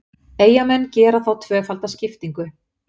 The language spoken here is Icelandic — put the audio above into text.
Eyjamenn gera þá tvöfalda skiptingu.